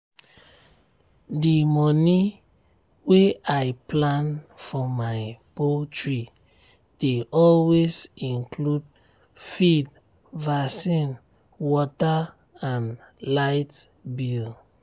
d moni wey i plan for my poultry dey always include feed vaccine water and light bill.